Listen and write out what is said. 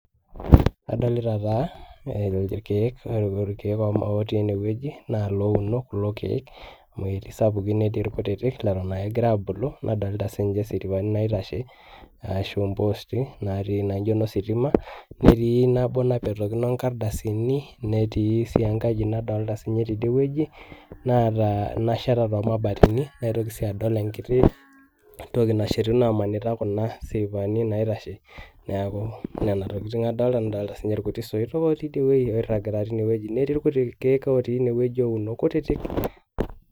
Adolita taa irkeek, ore irkeek otii ene wueji naa louno kuo keek amu eti sapukin netii irkutitik leton ake egira aabulu, nadolta sii ng'asiripani naitashe ashu mpoosti natii naijo ino sitima netii nabo napetakino inkardasini. Netii sii enkaji nadolta siinye tidie wueji naata nasheta too mabateni, naitoki sii adol enkiti toki nashetuno amanyita kuna siripani naitashe. Neeku nena tokitin adolta nadolta siinye irkutik soitok otii idie wuei oiragita tine wueji netii irkuti keek uonu kutitik.